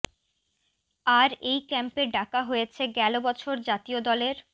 আর এই ক্যাম্পে ডাকা হয়েছে গেল বছর জাতীয় দলের